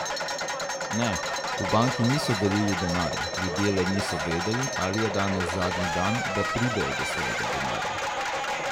Ne, v banki niso delili denarja, ljudje le niso vedeli, ali je danes zadnji dan, da pridejo do svojega denarja.